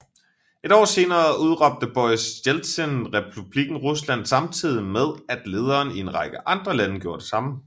Et år senere udråbte Boris Jeltsin Republikken Rusland samtidig med at lederne i en række andre lande gjorde det samme